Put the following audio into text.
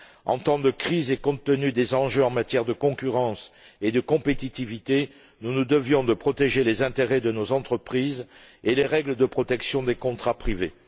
En temps de crise et, compte tenu des enjeux en matière de concurrence et de compétitivité, nous nous devions de protéger les intérêts de nos entreprises et les règles de protection des contrats privés.